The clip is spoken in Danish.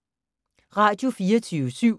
Radio24syv